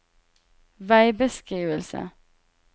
veibeskrivelse